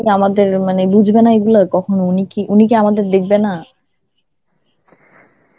আমাদের মানে বুঝবানা এগুলো? কখনো উনি কি~ উনি কি আমাদের দেখবে না?